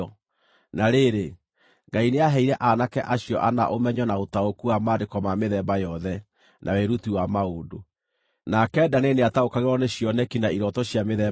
Na rĩrĩ, Ngai nĩaheire aanake acio ana ũmenyo na ũtaũku wa maandĩko ma mĩthemba yothe, na wĩruti wa maũndũ. Nake Danieli nĩataũkagĩrwo nĩ cioneki na irooto cia mĩthemba yothe.